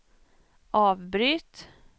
avbryt